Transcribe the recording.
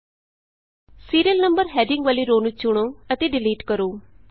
serial number serial number heading ਵਾਲੀ row ਨੂੰ ਚੁਣੋ ਅਤੇ ਡਿਲੀਟ ਕਰੋ